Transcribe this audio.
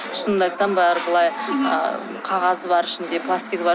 шынымды айтсам бәрі былай ы қағазы бар ішінде пластигі бар